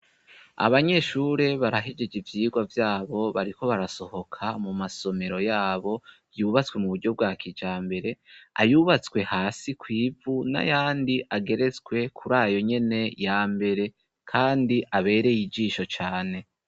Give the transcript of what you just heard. Abanyeshure barahijeje ivyirwa vyabo bariko barasohoka mu masomero yabo yubatswe mu buryo bwa kija mbere ayubatswe hasi kw'ivu na yandi ageretswe kuri ayo nyene ya mbere, kandi abereye ijisho cane.